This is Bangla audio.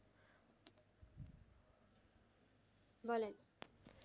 বলেন।